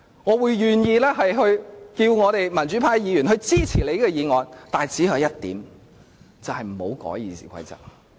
我願意請求民主派的議員支持他的議案，但只有一項條件，就是不要修改《議事規則》。